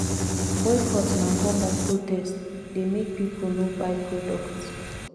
boycott na form of protest dey make people no buy product